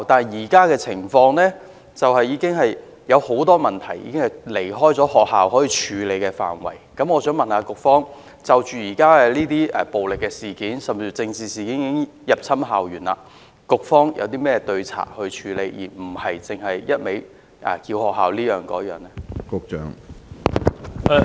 然而，現時有很多情況及很多問題已經超越學校能夠處理的範圍，我想問局方，現時暴力事件甚至政治事件已經入侵校園，局方除了要求學校處理以外，還有甚麼對策呢？